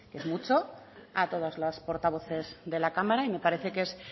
es mucho a todas las portavoces de la cámara y me parece que es